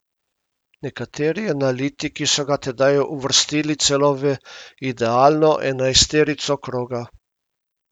Nekateri analitiki so ga tedaj uvrstili celo v idealno enajsterico kroga.